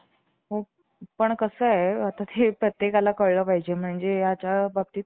थोडी मोकळी जागा होती. तिथं ते एक तपकिरी रंगाच पुठ्ठ्याच रिकामं खोकं, मी ठेवलं होतं आणि त्या tube वर